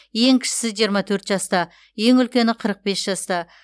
ең кішісі жиырма төрт жаста ең үлкені қырық бес жаста